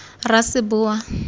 raseboa